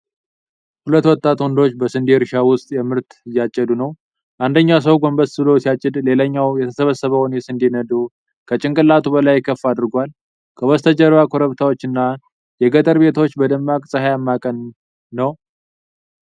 ሁለት ወጣት ወንዶች በስንዴ እርሻ ውስጥ ምርት እያጭዱ ነው። አንደኛው ሰው ጎንበስ ብሎ ሲያጭድ፣ ሌላኛው የተሰበሰበውን የስንዴ ነዶ ከጭንቅላቱ በላይ ከፍ አድርጓል። ከበስተጀርባ ኮረብታዎች እና የገጠር ቤቶች በደማቅ ፀሐያማ ቀን ነው።